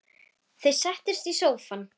Þau settust í sófann.